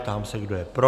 Ptám se, kdo je pro.